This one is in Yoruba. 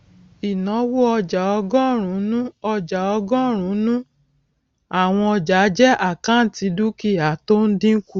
ìnáwó ọjà ọgọrùnún ọjà ọgọrùnún àwọn ọjàjẹ àkáǹtì dúkìá tí ó ń dínkù